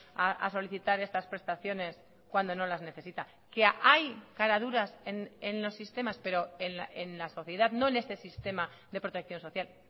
a solicitar estas prestaciones cuando no las necesita que hay caraduras en los sistemas pero en la sociedad no en este sistema de protección social